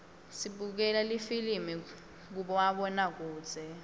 sibukela lifilimi kumabonakudze